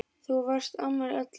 Þú varst amma allra.